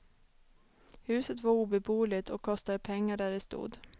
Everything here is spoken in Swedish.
Huset var obeboeligt, och kostade pengar där det stod.